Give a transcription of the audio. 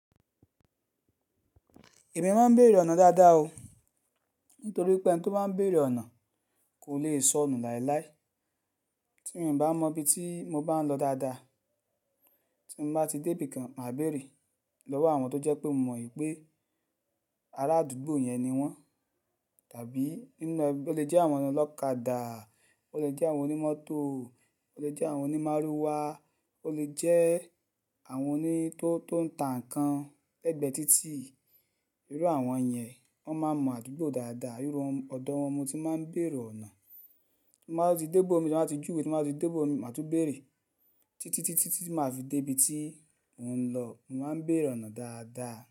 Èmi máa ń bèèrè ọ̀nà dáadáa o, nítorí pé ẹni tó bá ń bèèrè ọ̀nà kò lè sọnù láéláé. Tí mo bá mọ ibi tí mo bá ń lọ dáadáa, tí mo bá ti débí kan, màá bèèrè lọ́wọ́ àwọn tó jẹ́ pé mo mọ n pé ará àdúgbò yẹn ni wọ́n. Tàbí ó lè jẹ́ àwọn ọlọ́kadà, ó lè jẹ́ àwọn onímọ́tò, ó lè jẹ́ àwọn onímárúwá, ó lè jẹ́ àwọn oní tó, tó ń ta nǹkan lẹ́gbẹ̀ẹ́ títì. Irú àwọn yẹn, wọ́n máa mọ àdúgbò dáadáa. Irú ọ̀dọ̀ wọn mo tí máa ń bèèrè ọ̀nà. Tí n bá tún ti dé ibòmíì, tán bá ti júwe, tí n bá ti dé ibòmíì màá tún bèèrè títí, títí, títí màá fi dé ibi tí mò ń lọ. Mo máa ń bèèrè ọ̀nà dáadáa.